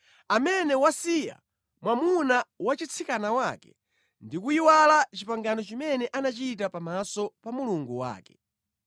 amene wasiya mwamuna wa chitsikana wake ndi kuyiwala pangano limene anachita pamaso pa Mulungu wake.